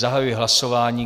Zahajuji hlasování.